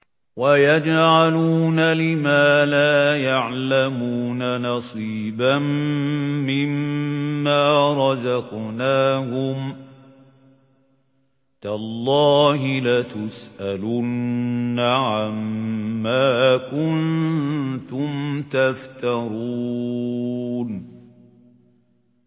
وَيَجْعَلُونَ لِمَا لَا يَعْلَمُونَ نَصِيبًا مِّمَّا رَزَقْنَاهُمْ ۗ تَاللَّهِ لَتُسْأَلُنَّ عَمَّا كُنتُمْ تَفْتَرُونَ